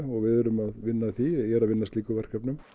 og við erum að vinna að því ég er að vinna að slíkum verkefnum